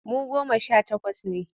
Mu goma sha takwas ne.